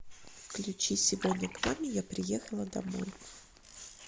включи сегодня к маме я приехала домой